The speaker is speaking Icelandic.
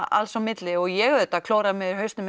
alls á milli og ég auðvitað klóraði mér í hausnum